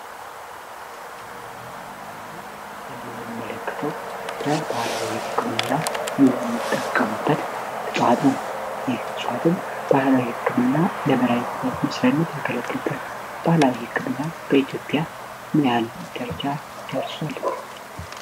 የህን ጥብስል ላይ የምንመለክተው በባላዊ ይክም እና የሚጠቀሙበት ልፋት ነው ይህ ሷትም ባህላዊ ህክም እና ለመራልታት ምስራነት የከለትገል ባላዊ የክም እና በኢትዮጵያ ምንያን ጀርቻ ደርሷል